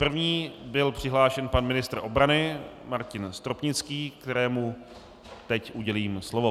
První byl přihlášen pan ministr obrany Martin Stropnický, kterému teď udělím slovo.